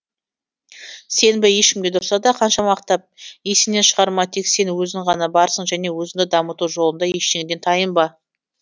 сенбе ешкімге тұрса да қанша мақтап есіңнен шығарма тек сен өзің ғана барсың және өзіңді дамыту жолында ештеңеден тайынба